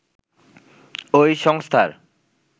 ওই সংস্থার